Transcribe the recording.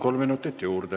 Kolm minutit juurde.